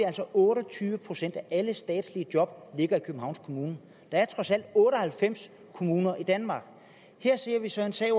altså otte og tyve procent af alle statslige job i københavns kommune der er trods alt otte og halvfems kommuner i danmark her ser vi så en sag